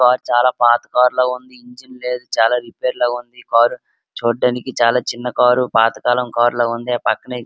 ఆ కార్ చాలా పాత కార్ లా ఉంది. ఇంజిన్ లేదు చాలా రిపేర్ లో ఉంది. ఈ కార్ చూడ్డానికి చాలా చిన్న కార్ పాతకాలం కార్ లా ఉంది. ఆ పక్కనే --